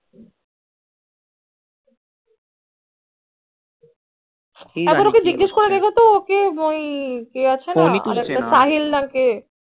আচ্ছা করে দেখ তো ওই কে আছে না সাহিল নাকে কি জানি phone ওই তুলছে না